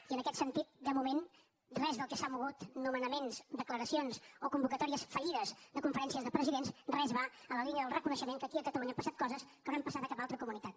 i en aquest sentit de moment res del que s’ha mogut nomenaments declaracions o convocatòries fallides de conferències de presidents res va en la línia del reconeixement que aquí a catalunya han passat coses que no han passat a cap altra comunitat